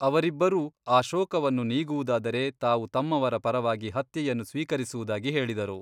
ಅವರಿಬ್ಬರೂ ಆ ಶೋಕವನ್ನು ನೀಗುವುದಾದರೆ ತಾವು ತಮ್ಮವರ ಪರವಾಗಿ ಹತ್ಯೆಯನ್ನು ಸ್ವೀಕರಿಸುವುದಾಗಿ ಹೇಳಿದರು.